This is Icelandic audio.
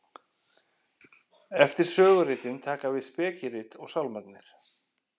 eftir söguritin taka við spekirit og sálmarnir